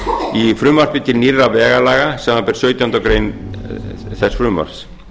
í frumvarpi til nýrra vegalaga samanber sautjándu grein þess frumvarps